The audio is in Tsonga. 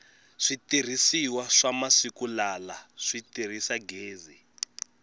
switirhisiwa swa masiku lala si tirhisa gezi